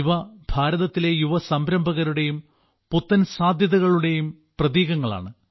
ഇവ ഭാരതത്തിലെ യുവ സംരംഭകരുടെയും പുത്തൻ സാധ്യതകളുടെയും പ്രതീകങ്ങളാണ്